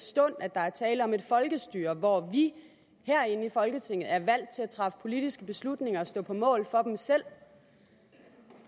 stund at der er tale om et folkestyre hvor vi herinde i folketinget er valgt til at træffe politiske beslutninger og stå på mål for dem selv